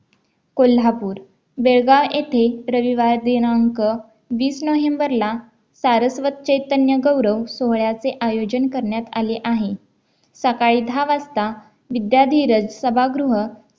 कोल्हापूर बेळगाव येथे रविवार दिनांक वीस नोव्हेंबरला सारस्वत चैतन्य गौरव सोहळ्याचे आयोजन करण्यात आले आहे सकाळी दहा वाजता विद्यार्थीरज सभागृह